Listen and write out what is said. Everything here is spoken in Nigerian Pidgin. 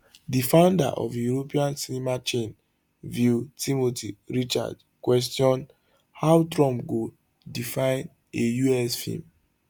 di founder of european cinema chain vue timothy richards question how trump go define a us film